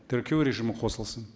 тіркеу режимі қосылсын